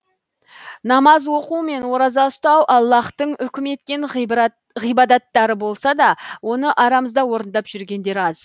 намаз оқу мен ораза ұстау аллаһтың үкім еткен ғибадаттары болса да оны арамызда орындап жүргендер аз